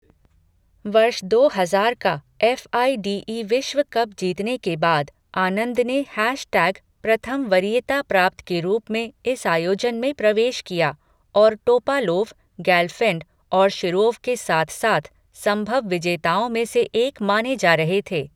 वर्ष दो हजार का ऍफ़ आइ डी ई विश्व कप जीतने के बाद, आनंद ने हैश टैग प्रथम वरीयता प्राप्त के रूप में इस आयोजन में प्रवेश किया और टोपालोव, गेलफैंड और शिरोव के साथ साथ संभव विजेताओं में से एक माने जा रहे थे।